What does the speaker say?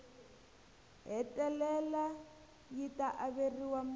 hetelela yi ta averiwa mune